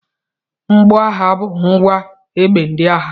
Mgboagha bụ ngwa egbe ndị agha.